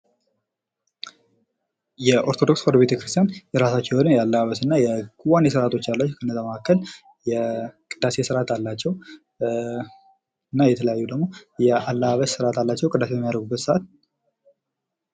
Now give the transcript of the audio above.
የኦርቶዶክስ ተዋህዶ ቤተክርስቲያን የራሳቸው የሆነ የአለባበስና የክዋኔ ስርዓት አላቸው። ከነዛ መካከል የቅዳሴ ስርዓት አላቸው። እና የተለያዩ ደግሞ ያለባበስ ስርአት አላቸው ።ቅዳሴ በሚያደርጉበት ሰዓት...